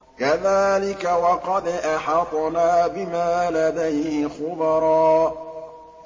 كَذَٰلِكَ وَقَدْ أَحَطْنَا بِمَا لَدَيْهِ خُبْرًا